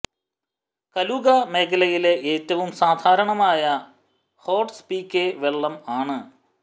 കലുഗ മേഖലയിലെ ഏറ്റവും സാധാരണമായ ഹേർട്സ് പികെ വെള്ളം ആണ്